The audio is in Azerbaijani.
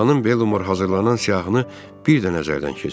Xanım Belmor hazırlanan siyahını bir də nəzərdən keçirdi.